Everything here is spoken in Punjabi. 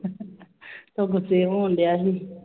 ਉਹ ਗੁੱਸੇ ਹੋਣ ਡਿਆ ਸੀ।